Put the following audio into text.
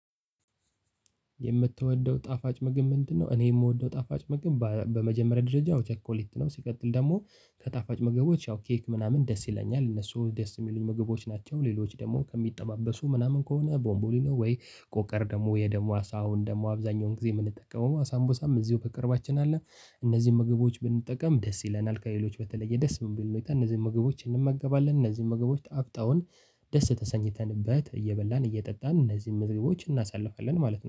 የምትወደው ጣፋጭ ምግብ ምንድነው? እኔ የምወደው ጣፋጭ ምግብ በመጀመሪያ ደረጃ ቸኮሌት ነው። ሲቀጥል ደግሞ ከጣፋጭ ምግቦች ያው ኬክ ምናምን ደስ ይለኛል እነሱ ደስ የሚሉኝ ምግቦች ናቸው። ሌሎች ደግሞ ከሚጠባበሱ ምናምን ከሆነ ቦንቦሊኖ ወይ ቆቀር ደግሞ የደሙ አሳውን ደግሞ አብዛኛውን ጊዜ የምንጠቀመው ሳምቡሳም እዚሁ በቅርባችን አለ። እነዚህን ምግቦች ብንጠቀም ደስ ይለናል ከሌሎች በተለየ ደስ የሚል ሁኔታ እነዚህን ምግቦች እንመገባለን። እነዚህን ምግቦች ጣፍጠውን ደስ ተሰኝተንበት እየበላን እየጠጣን እነዚህን ምግቦች እናሳልፋለን ማለት ነው